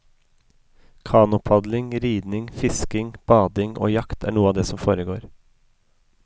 Kanopadling, ridning, fisking, bading og jakt er noe av det som foregår.